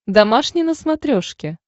домашний на смотрешке